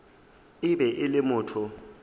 e be e le motho